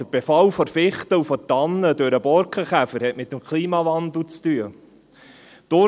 Der Befall der Fichte und der Tanne durch den Borkenkäfer hat mit dem Klimawandel zu tun.